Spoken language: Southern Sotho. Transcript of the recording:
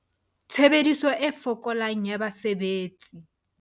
Tshebediso e fokolang ya basebetsi